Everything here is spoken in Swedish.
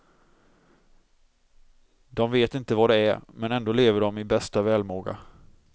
De vet inte vad det är, men ändå lever de i bästa välmåga.